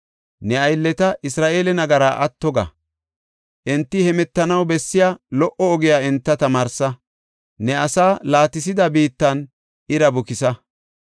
Ne aylleta, Isra7eele nagaraa atto ga. Enti hemetanaw bessiya lo77o ogiya enta tamaarsa; ne asaa laatisida biittan ira bukisa.